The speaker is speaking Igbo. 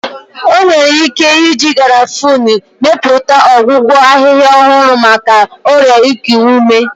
Enwere ike iji Garafuni mepụta ọgwụgwọ ahịhịa ọhụrụ maka ọrịa iku ume.